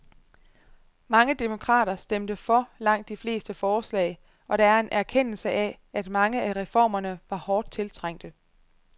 Mange demokrater stemte for langt de fleste forslag, og der er en erkendelse af, at mange af reformerne var hårdt tiltrængte.